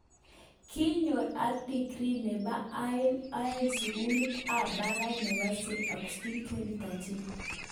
Kinyo ak degree nebo aeng eng sukulit ab barak nebo st Augustine 2013.